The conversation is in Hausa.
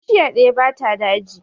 Bishiya ɗaya ba ta daji